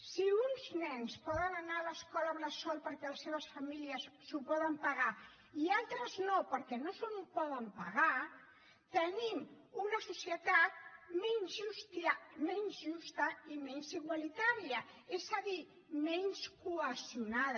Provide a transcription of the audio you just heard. si uns nens poden anar a l’escola bressol perquè les seves famílies s’ho poden pagar i altres no perquè no s’ho poden pagar tenim una societat menys justa i menys igualitària és a dir menys cohesionada